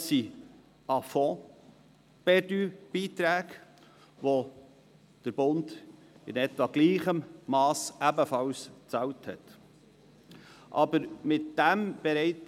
Dies sind A-fonds-perdu-Beiträge, wie sie in etwa im gleichem Mass vom Bund bezahlt wurden.